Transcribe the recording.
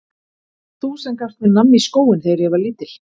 Varst það þú sem gafst mér nammi í skóinn þegar ég var lítill?